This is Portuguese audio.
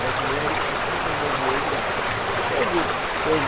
Brasileiros, pouquíssimos brasileiros ganham. Teve